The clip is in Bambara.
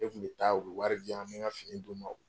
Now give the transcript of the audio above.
Ne kun bɛ taa, o bɛ wari di yan. N bɛ ka fini d'u ma.